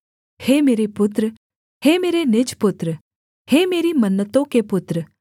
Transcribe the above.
हे मेरे पुत्र हे मेरे निज पुत्र हे मेरी मन्नतों के पुत्र